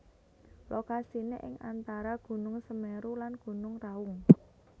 Lokasiné ing antara Gunung Semeru lan Gunung Raung